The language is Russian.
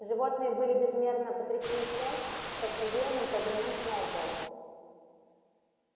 животные были безмерно потрясены тем что в содеянном повинен сноуболл